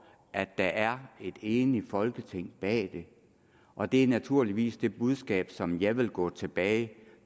at der er et enigt folketing bag det og det er naturligvis det budskab som jeg vil gå tilbage